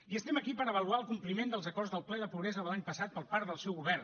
i estem aquí per avaluar el compliment dels acords del ple de pobresa de l’any passat per part del seu govern